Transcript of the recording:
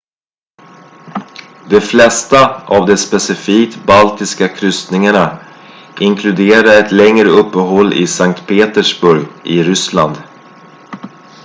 de flesta av de specifikt baltiska kryssningarna inkluderar ett längre uppehåll i sankt petersburg i ryssland